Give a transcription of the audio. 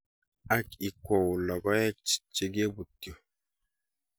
Ak ikwou logoek chegobutyo.